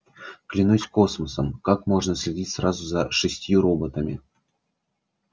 клянусь космосом как можно следить сразу за шестью роботами